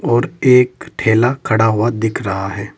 और एक ठेला खड़ा हुआ दिख रहा है।